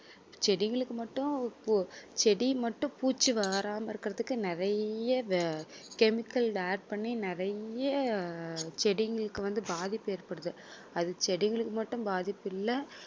செடிகளுக்கு மட்டும் பூ~ செடி மட்டும் பூச்சி வராமல் இருக்குறதுக்கு நிறைய chemical add பண்ணி நிறைய செடிங்களுக்கு வந்து பாதிப்பு ஏற்படுது அது செடிகளுக்கு மட்டும் பாதிப்பு இல்ல